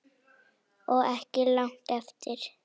Á ekki langt eftir